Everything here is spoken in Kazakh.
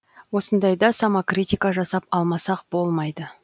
осындайда самокритика жасап алмасақ болмайды